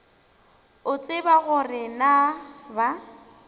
o tseba gore na ba